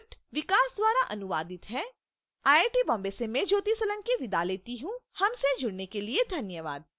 यह स्क्रिप्ट विकास द्वारा अनुवादित है आई आई टी बॉम्बे से मैं ज्योति सोलंकी आपसे विदा लेती हूँ हमसे जुड़ने के लिए धन्यवाद